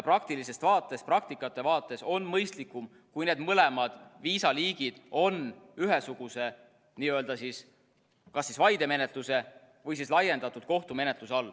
Ja praktikate vaates on mõistlikum, kui need mõlemad viisaliigid on ühesuguse kas vaidemenetluse või laiendatud kohtumenetluse all.